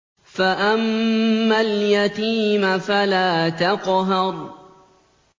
فَأَمَّا الْيَتِيمَ فَلَا تَقْهَرْ